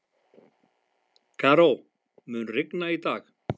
Karó, mun rigna í dag?